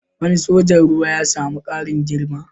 Wani sojan ruwa ya sami ƙarin girma